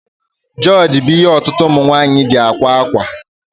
Jioji bú ihe ọtụtụ ụmụnwaanyi ji ákwà akwa